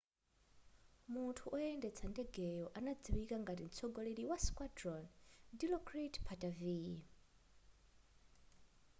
munthu woyendetsa ndegeyo anadziwika ngati mtsogoleri wa squadron dilokrit pattavee